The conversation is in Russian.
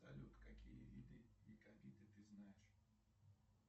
салют какие виды якобиты ты знаешь